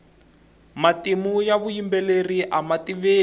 matimu ya vuyimbeleri ama tiveki